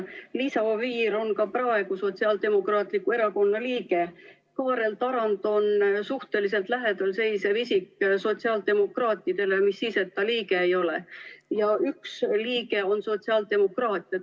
Liisa Oviir on ka praegu Sotsiaaldemokraatliku Erakonna liige, Kaarel Tarand on suhteliselt lähedal seisev isik sotsiaaldemokraatidele, mis siis, et ta liige ei ole, ja üks liige on sotsiaaldemokraat.